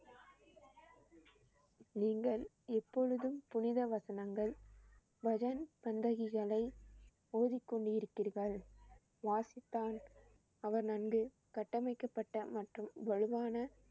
நீங்கள் எப்பொழுதும் புனித வசனங்கள், பஜன் சங்கதிகளை ஓதிக்கொண்டு இருப்பீர்கள். கட்டமைக்கப்பட்ட மற்றும் வலுவான